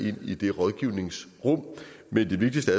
ind i det rådgivningsrum men det vigtigste